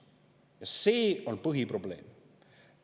Ja see on põhiprobleem.